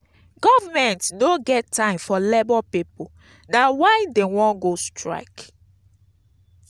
government no get time for labour pipu. na why dey wan go strike.